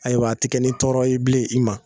Ayiwa a ti kɛ ni tɔɔrɔ yei bilen i ma